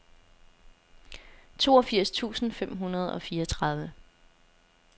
toogfirs tusind fem hundrede og fireogtredive